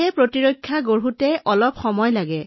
ৰোগ প্ৰতিৰোধ ক্ষমতা গঢ়িবলৈ সময় লাগে